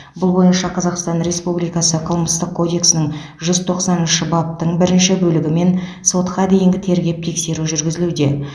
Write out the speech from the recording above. бұл бойынша қазақстан республикасы қылмыстық кодексінің жүз тоқсаныншы баптың бірінші бөлігімен сотқа дейінгі тергеп тексеру жүргізілуде